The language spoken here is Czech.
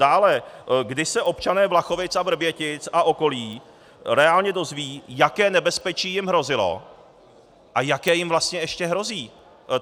Dále, kdy se občané Vlachovic a Vrbětic a okolí reálně dozvědí, jaké nebezpečí jim hrozilo a jaké jim vlastně ještě hrozí?